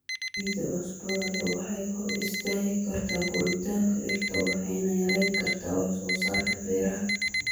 Ciidda cusbada leh waxay hor istaagi kartaa koritaanka dhirta waxayna yareyn kartaa wax soo saarka beeraha.